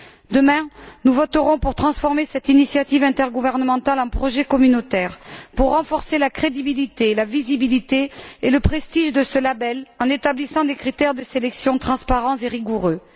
Demain, nous voterons pour transformer cette initiative intergouvernementale en projet communautaire, pour renforcer la crédibilité, la visibilité et le prestige de ce label en établissant des critères de sélection transparents et rigoureux.